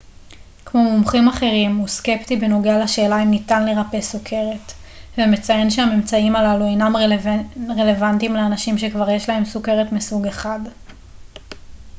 כמו מומחים אחרים הוא סקפטי בנוגע לשאלה אם ניתן לרפא סוכרת ומציין שהממצאים הללו אינם רלוונטיים לאנשים שכבר יש להם סוכרת מסוג 1